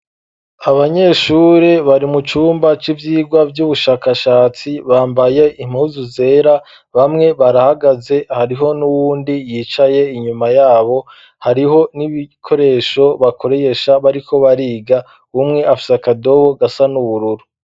Abanyeshure bari mu cumba c'ivyigwa vy'ubushakashatsi bambaye impuzu zera, bamwe barahagaze hariho n'uwundi yicaye inyuma yabo hariho n'ibikoresho bakoresha bariko bariga umwe afise akadobo gasa n'ubururu.